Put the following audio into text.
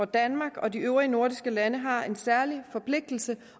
danmark og de øvrige nordiske lande har en særlig forpligtelse